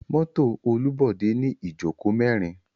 Mọto Olubode ni ijoko merin.